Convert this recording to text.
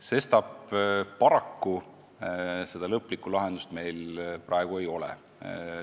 Sestap paraku lõplikku lahendust meil praegu ei ole.